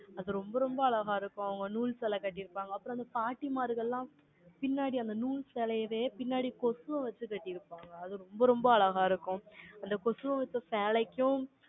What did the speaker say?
அது, ரொம்ப, ரொம்ப அழகா இருக்கும். அவங்க, நூல் சேலை எல்லாம், கட்டியிருப்பாங்க. அப்புறம், அந்த பாட்டிமார்கள்லாம், பின்னாடி, அந்த நூல் சேலையவே, பின்னாடி, கொசுவை வச்சு, கட்டியிருப்பாங்க ரொம்ப, ரொம்ப அழகா இருக்கும். அந்த கொசுவை வித்த சேலைக்கும்,